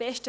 Besten